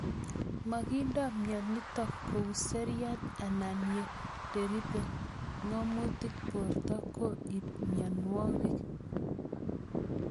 Makinde mionitok kou seriat anan ye ndaripi ng'amutik porto ko ip mionwogik